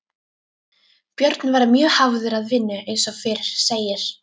Björn var mjög hafður að vinnu eins og fyrr segir.